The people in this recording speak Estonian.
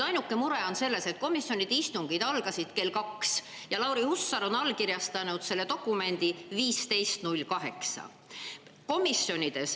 Ainuke mure on selles, et komisjonide istungid algasid kell 14, aga Lauri Hussar allkirjastas selle dokumendi kell 15.08.